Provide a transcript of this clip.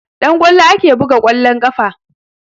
Da ƙwallo ake buga ƙwallon ƙafa